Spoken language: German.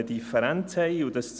Den anderen stimmen wir zu.